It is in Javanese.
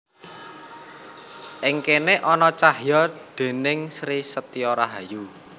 Ing kéné ana cahya déning Sri Setyo Rahayu